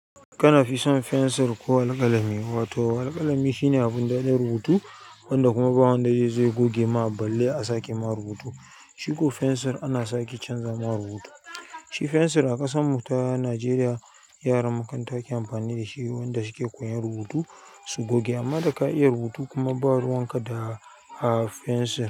Kana fi son fensir ko alƙalami ko? Wato alƙalami shine abin da ɗin rubutu wanda kuma ba wanda zai goge ma balle a sake ma rubutu. Shi ko fensir ana sake canza ma rubutu. Shi fensir a ƙasan mu ta Najeriya yaran makaranta ke amfani da shi wanda su ke koyan rubutu su goge amma da ka iya rubutu kuma ba ruwan ka da a fensir.